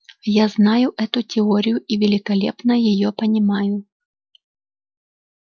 я знаю эту теорию и великолепно её понимаю